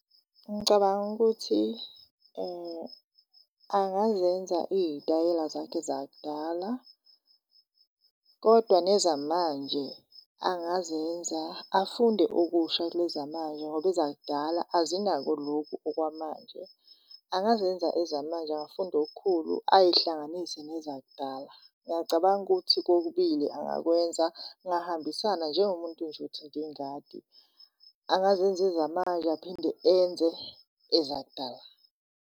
Ngicabanga ukuthi, angazenza iy'tayela zakhe zakudala kodwa nezamanje angazenza afunde okusha kulezi zamanje ngoba ezakudala azinako loku okwamanje. Angazenza ezamanje, angafunda okukhulu ayihlanganise nezakudala. Ngiyacabanga ukuthi kokubili angakwenza kungahambisana njengomuntu nje othanda ingadi, angazenza ezamanje aphinde enze ezakudala.